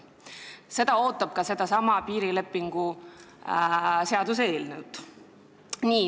See ootab ees ka sedasama piirilepingu seaduse eelnõu.